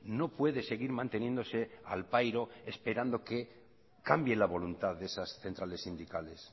no puede seguir manteniéndose al pairo esperando que cambie la voluntad de esas centrales sindicales